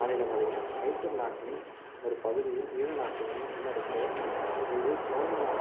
மாநிலங்களையும் மைசூர் நாட்டின் ஒரு பகுதியும் ஈழ நாட்டையும் உள்ளடக்கிய இருந்து சோழநா~